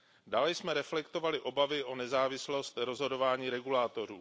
Dále jsme reflektovali obavy o nezávislost rozhodování regulátorů.